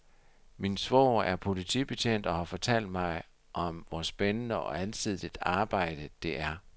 Min svoger er politibetjent og har fortalt mig om, hvor spændende og alsidigt et arbejde, det er.